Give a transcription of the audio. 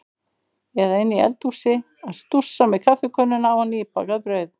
Eða inni í eldhúsi að stússa með kaffikönnuna og nýbakað brauð.